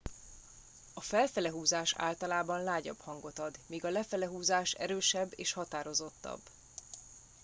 "a "felfele" húzás általában lágyabb hangot ad míg a "lefele" húzás erősebb és határozottabb.